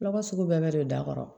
Lɔgɔ sugu bɛɛ bɛ don da kɔrɔ